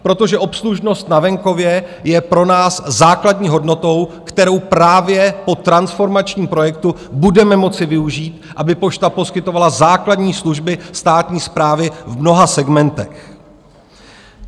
Protože obslužnost na venkově je pro nás základní hodnotou, kterou právě po transformačním projektu budeme moci využít, aby pošta poskytovala základní služby státní správy v mnoha segmentech.